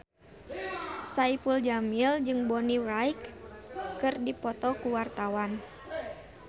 Saipul Jamil jeung Bonnie Wright keur dipoto ku wartawan